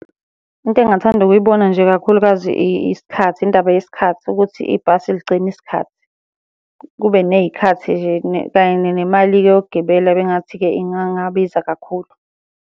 Into engingathanda ukuyibona nje kakhulukazi isikhathi, indaba yesikhathi ukuthi ibhasi ligcine isikhathi, kube ney'khathi nje kanye nemali-ke yokugibela bengingathi-ke ingangabiza kakhulu.